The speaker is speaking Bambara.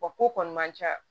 Wa ko kɔni man ca